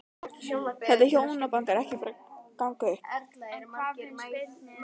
Þetta hjónaband er bara ekki að ganga upp.